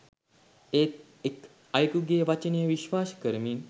ඒත් එක් අයෙකුගේ වචනය විශ්වාස කරමින්